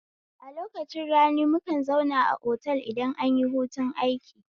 A lokacin rani mukan zauna a otal idan anyi hutun aiki